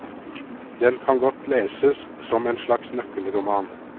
Den kan godt leses som en slags nøkkelroman.